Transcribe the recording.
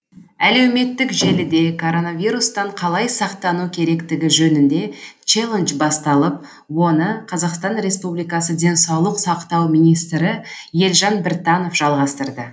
әлеуметтік желіде короновирустан қалай сақтану керектігі жөнінде челлендж басталып оны қазақстан республикасы денсаулық сақтау министрі елжан біртанов жалғастырды